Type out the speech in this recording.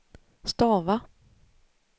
stava